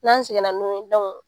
N'an seginna n'u ye